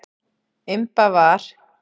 Imba var.